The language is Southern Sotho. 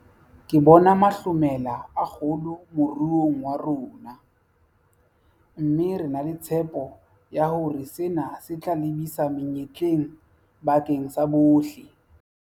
Ke bona mahlomela a kgolo moruong wa rona, mme re na le tshepo ya hore sena se tla lebisa menyetleng bakeng sa bohle.